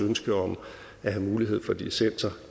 ønske om at have mulighed for dissenser